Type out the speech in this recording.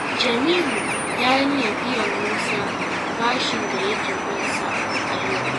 Jamilu ya yi niyyar biyan Musa bashin da yake bin sa a yau.